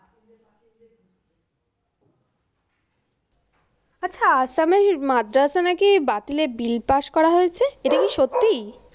আচ্ছা, আসামের মাদ্রাসা নাকি বাতিলে বিল পাস করা হয়েছে। এটা কি সত্যি?